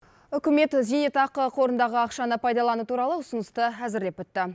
үкімет зейнетақы қорындағы ақшаны пайдалану туралы ұсынысты әзірлеп бітті